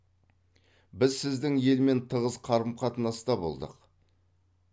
біз сіздің елмен тығыз қарым қатынаста болдық